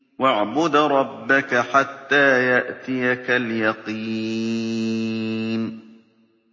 وَاعْبُدْ رَبَّكَ حَتَّىٰ يَأْتِيَكَ الْيَقِينُ